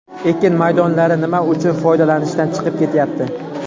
Ekin maydonlari nima uchun foydalanishdan chiqib ketyapti?